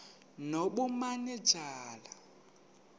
nobumanejala